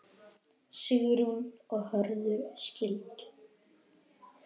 Sigrún og Hörður skildu.